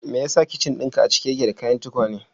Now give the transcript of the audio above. Me yasa kicin dinka a cike yake da kayan tukwane?